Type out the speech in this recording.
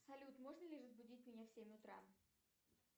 салют можно ли разбудить меня в семь утра